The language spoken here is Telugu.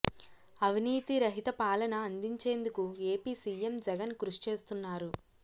అవినీతి రహిత పాలన అందించేందుకు ఏపీ సీఎం జగన్ కృషి చేస్తున్నారు